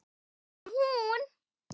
Það var líka hún.